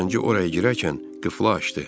Zənci oraya girərkən qıfla açdı.